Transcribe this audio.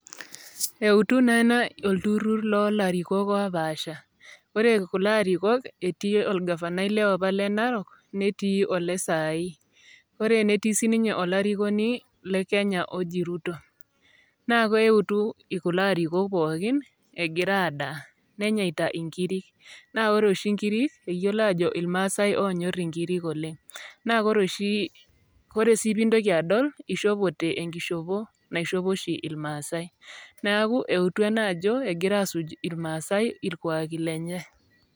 eutu naa ena olturrur ,lolarikok opaasha ore kulo arikok etii olgavanai liapa le narok netii ole sai ore netii sininye olarikoni le kenya oji Ruto naa keutu kulo arikok pookin egira adaa nenyaita inkirik naa ore oshi inkiri eyiolo ajo ilmaasae onyorr inkirik oleng naa kore sii pintoki adol ishopote enkishopo naishopo oshi ilmaasae naku eutu ena ajo egira asuj irmaasae irkuaki lenye.